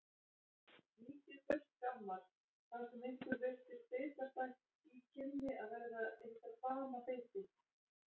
Víkið burt gammar, það sem ykkur virtist bitastætt í kynni að verða ykkar banabiti.